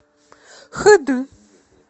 хд